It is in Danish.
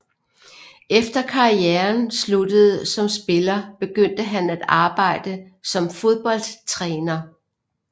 Efter karrieren sluttede som spiller begyndte han at arbejde som fodboldtræner